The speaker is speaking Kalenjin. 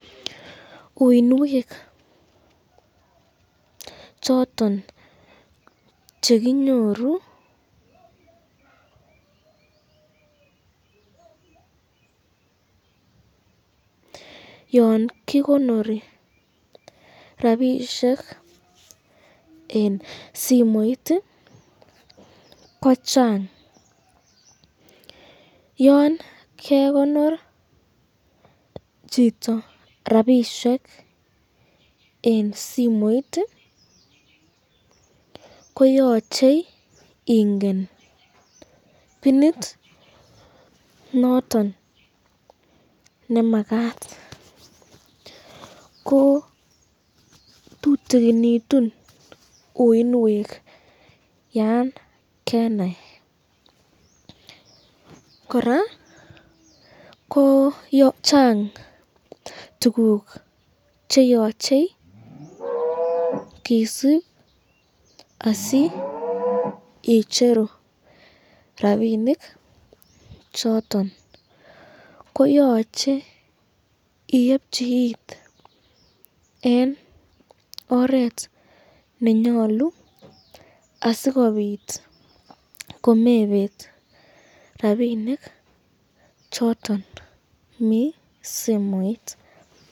uinwek choton chekinyoruyan kikonori rapishek eng simoit ko chang, Yan kekonor choton rapishek eng simoit ko yache ingen pinit noton nemakat, ko tutukinitun uinwek Yan kenai, koraa ko chang tukuk cheyoche kisub asi icheru rapinik choton, koyache iebchi it eng oret nenyalu, asikobit komebet rapinik choton mi simoit.